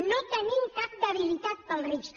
no tenim cap debilitat pels rics